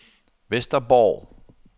Vesterborg